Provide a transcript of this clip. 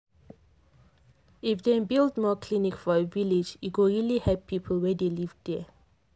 if dem build more clinic for village e go really help people wey dey live there.